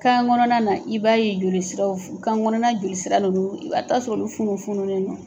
Kan kɔnɔna na i b'a ye joli siraw kan kɔnɔna joli sira ninnu i ba taa sɔrɔ ulu funu funulen do.